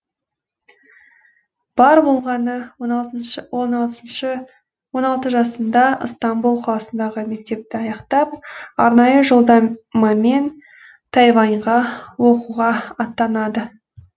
бар болғаны он алты жасында ыстамбұл қаласындағы мектепті аяқтап арнайы жолдам а мен тайваньға оқуға аттанады